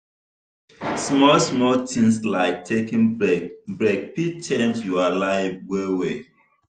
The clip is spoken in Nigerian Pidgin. small small things like taking break break fit change your life well well.